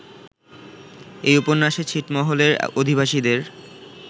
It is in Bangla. এ উপন্যাসে ছিটমহলের অধিবাসীদের